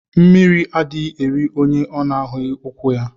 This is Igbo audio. Mmiri adighi eri onye ọ na ahughi ukwu ya.